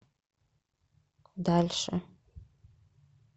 дальше